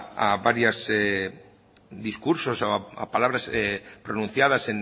a varias discursos o a palabras pronunciadas